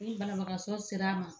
Ni banabagasɔ sera a ma